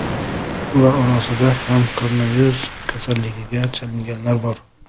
Ular orasida ham koronavirus kasalligiga chalinganlar bor.